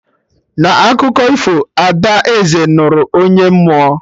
Na akụkọ ifo, Ada Eze nụrụ onye mmụọ "